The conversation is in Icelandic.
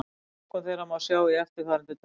Flokkun þeirra má sjá í eftirfarandi töflu: